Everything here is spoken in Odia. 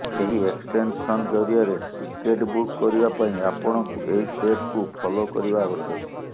ଏହି ଏକ୍ସଟେନ୍ସନ ଜରିଆରେ ଟିକେଟ୍ ବୁକ୍ କରିବା ପାଇଁ ଆପଣଙ୍କୁ ଏହି ଷ୍ଟେପକୁ ଫଲୋ କରିବା ଆବଶ୍ୟକ